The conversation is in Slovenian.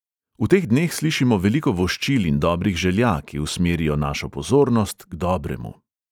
V teh dneh slišimo veliko voščil in dobrih želja, ki usmerijo našo pozornost k dobremu.